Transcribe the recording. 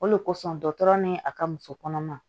O de kosɔn dɔgɔtɔrɔ ni a ka muso kɔnɔma